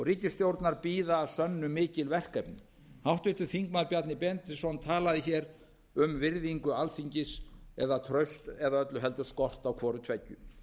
ríkisstjórnar bíða að sönnu mikil verkefni háttvirtur þingmaður bjarni benediktsson talaði hér um virðingu alþingis eða traust eða öllu heldur skort á hvoru tveggju